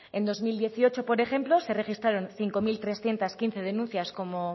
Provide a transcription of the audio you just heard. en dos mil dieciocho por ejemplo se registramos cinco mil trescientos quince denuncias como